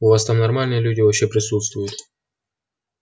у вас там нормальные люди вообще присутствуют